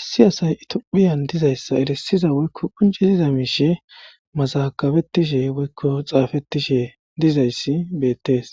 issi asay itophiyan dizayssa erisiza woykko qunjiziza miishe mazakabettishe woykko xaafettishe dizayssi bettees